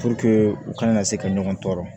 u kana na se ka ɲɔgɔn tɔɔrɔ